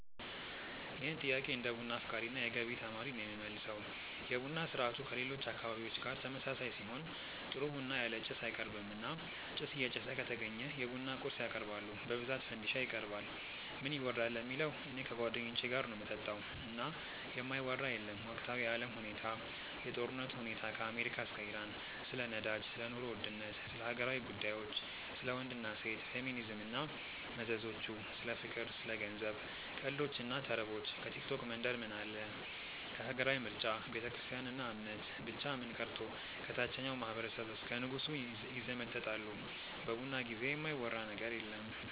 ይህን ጥያቄ እንደ ቡና አፍቃሪ እና የገቢ ተማሪ ነው የምመልሰው። የቡና ስርአቱ ከሌሎች አካባቢዎች ጋር ተመሳሳይ ሲሆን ጥሩ ቡና ያለ ጭስ አይቀርብም እና ጭስ እየጨሰ ከተገኘ የቡና ቁርስ ያቀርባሉ በብዛት ፈንዲሻ ይቀርባል። ምን ይወራል ለሚለው እኔ ከጓደኞቼ ጋር ነው ምጠጣው እና የማይወራ የለም ወቅታዊ የአለም ሁኔታ፣ የጦርነቱ ሁኔታ ከአሜሪካ እስከ ኢራን፣ ስለ ነዳጅ፣ ስለ ኑሮ ውድነት፣ ስለ ሀገራዊ ጉዳዮች፣ ስለ ወንድ እና ሴት፣ ፌሚኒዝም እና መዘዞቹ፣ ስለ ፍቅር፣ ስለ ገንዘብ፣ ቀልዶች እና ተረቦች፣ ከቲክቶክ መንደር ምን አለ፣ ሀገራዊ ምርጫ፣ ቤተክርስትያን እና እምነት፣ ብቻ ምን ቀርቶ ከታቸኛው ማህበረሰብ እስከ ንጉሱ ይዘመጠጣሉ በቡና ጊዜ የማይወራ ነገር የለም።